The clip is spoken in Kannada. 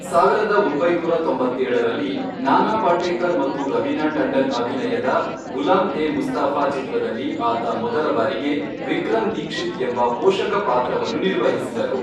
ಸಾವಿರದ ಒಂಬೈನೂರ ತೊಂಬತ್ತೇಳರಲ್ಲಿ, ನಾನಾ ಪಾಟೇಕರ್ ಮತ್ತು ರವೀನಾ ಟಂಡನ್ ಅಭಿನಯದ ಗುಲಾಮ್ ಎ ಮುಸ್ತಫಾ ಚಿತ್ರದಲ್ಲಿ ಆತ ಮೊದಲ ಬಾರಿಗೆ ವಿಕ್ರಮ್ ದೀಕ್ಷಿತ್ ಎಂಬ ಪೋಷಕ ಪಾತ್ರವನ್ನು ನಿರ್ವಹಿಸಿದರು.